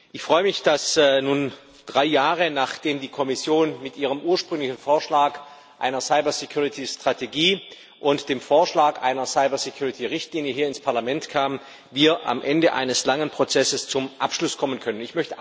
Ich freue mich, dass wir nun drei Jahre, nachdem die Kommission mit ihrem ursprünglichen Vorschlag für eine Cybersicherheitsstrategie und dem Vorschlag für eine Cybersicherheitsrichtlinie hier ins Parlament kam, am Ende eines langen Prozesses zum Abschluss kommen können.